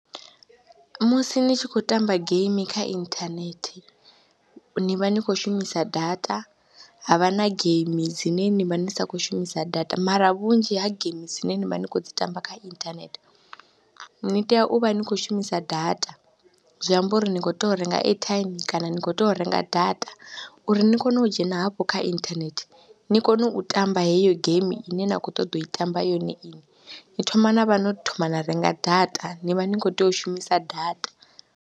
Musi ni tshi khou tamba geimi kha inthanethe ni vha ni khou shumisa data ha vha na geimi dzine ni vha ni sa khou shumisa data mara vhunzhi ha geimi dzine ni vha ni khou dzi tamba kha inthanethe ni tea u vha ni khou shumisa data. Zwi amba uri ni khou tea u renga airtime kana ni khou tea u renga data uri ni kone u dzhena hafho kha inthanethe ni kone u tamba heyo geimi ine na khou ṱoḓa u i tamba yone inwi, ni thoma na vha no thoma na renga data, ni vha ni khou tea u shumisa data.